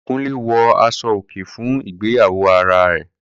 Kunle wọ aṣọ-òkè fún ìgbéyàwó ará ẹ̀